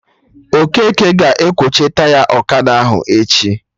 Okeke ga-ekwocha Taya ọkada ahụ echi